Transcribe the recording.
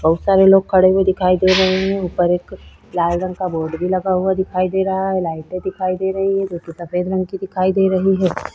बहुत सारे लोग खड़े हुए दिखाई दे रहे है ऊपर एक लाल रंग का बोर्ड भी लगा हुआ दिखाई दे रहा है लाइटे दिखाई दे रही है जोकी सफ़ेद रंग की दिखाई दे रही है